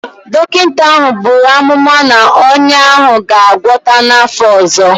Dọkịta ahụ buru amụma na ọnya ahụ ga-agwọta n'afọ ọzọ.